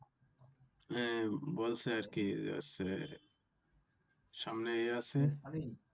এ বলছে আর কি সামনেএ এ আছে